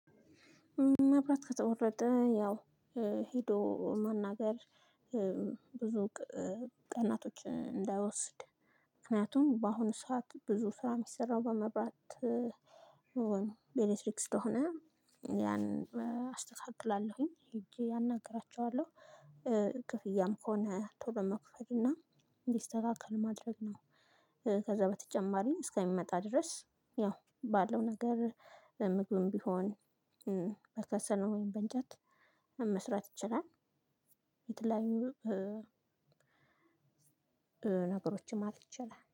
መብራት ከተቆረጠ ያው ሄዶ መናገር ብዙ ቀናቶች እንዳይወስድ ምክንያቱም በአሁኑ ሰዓት ብዙ ስራ የሚሰራው በመብራት በኤሌክትሪክ ስለሆነ ያን አስተካክላለሁኝ። ሄጄ አናግራቸዋለሁ። ክፍያም ከሆነ ቶሎ መክፈል እና እንዲስተካከል ማድረግ ነው። ከዛ በተጨማሪ እስከሚመጣ ድረስ ያው ባለው ነገር ምግብም ቢሆን በከሰል ወይም በንጨት መስራት ይችላል። የተለያዩ ነገሮችም ማለትይቻላል